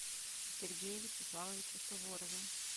сергее вячеславовиче суворове